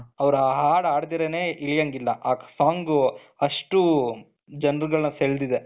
ಅವರು ಹಾಡು ಹಾಡ್ತಿರಾನೇ ಇಳಿಯಂಗಿಲ್ಲ ಆ song ಅಷ್ಟು ಜನರುಗಳನ್ನು ಸೆಳೆದಿದೆ